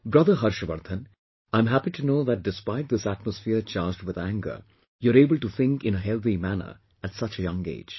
Brother Harshvardhan, I am happy to know that despite this atmosphere charged with anger, you are able to think in a healthy manner at such a young age